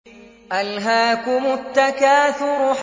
أَلْهَاكُمُ التَّكَاثُرُ